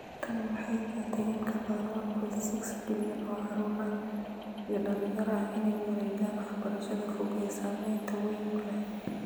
Tani waxay keentay in ka badan 1.6 bilyan oo caruur iyo dhalinyaro ah inay u wareegaan waxbarashada fog ee saamaynta wayn leh.